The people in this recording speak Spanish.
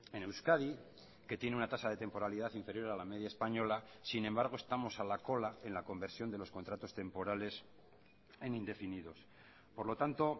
en euskadi que tiene una tasa de temporalidad inferior a la media española sin embargo estamos a la cola en la conversión de los contratos temporales en indefinidos por lo tanto